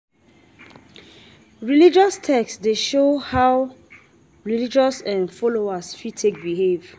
Religious text dey show how religious um folowers fit take behave